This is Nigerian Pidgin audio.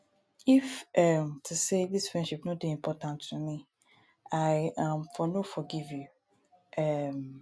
if um to sey dis friendship no dey important to me i um for no forgive you. um